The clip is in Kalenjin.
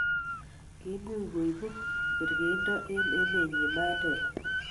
kiimuch koibu kerkeindo eng' emenyin Mandela